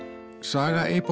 saga